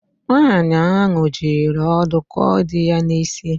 Nwaanyị ahụ jiri ọdụ kụọ di ya n’isi